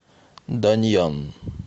даньян